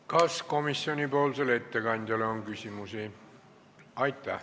Kas komisjoni ettekandjale on küsimusi?